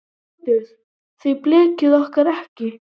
ÞORVALDUR: Þið blekkið okkur ekki.